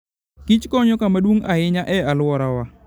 kich konyo kama duong' ahinya e alworawa.